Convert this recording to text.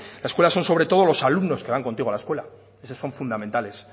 la escuela son sobre todo los alumnos que van contigo a la escuela esos son fundamentales